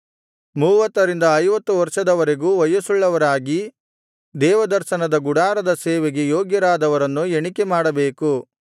ಮೂವತ್ತರಿಂದ ಐವತ್ತು ವರ್ಷದವರೆಗೂ ವಯಸ್ಸುಳ್ಳವರಾಗಿ ದೇವದರ್ಶನದ ಗುಡಾರದ ಸೇವೆಗೆ ಯೋಗ್ಯರಾದವರನ್ನು ಎಣಿಕೆಮಾಡಬೇಕು